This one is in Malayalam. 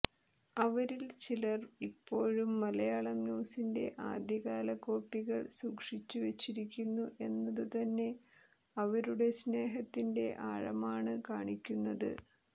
അവരിൽ ചിലർ ഇപ്പോഴും മലയാളം ന്യൂസിന്റെ ആദ്യകാല കോപ്പികൾ സൂക്ഷിച്ചുവെച്ചിരിക്കുന്നു എന്നതു തന്നെ അവരുടെ സ്നേഹത്തിന്റെ ആഴമാണ് കാണിക്കുന്നത്